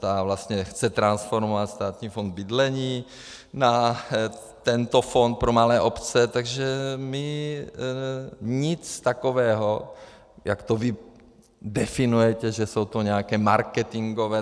Ta vlastně chce transformovat Státní fond bydlení na tento fond pro malé obce, takže my nic takového, jak to vy definujete, že jsou to nějaké marketingové...